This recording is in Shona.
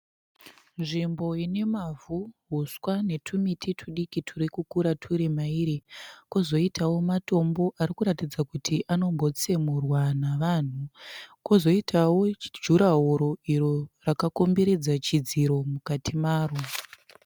Nzvimbo inemavhu, huswa netumiti tudiki turikukura turimairi. Kozoitawo matombo arikuratidza kuti anombotsemurwa navanhu. Kozoitawo jurahoro iro rakakomberedza chidziro mukati maro.